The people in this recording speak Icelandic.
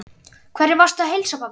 Hverjum varstu að heilsa, pabbi?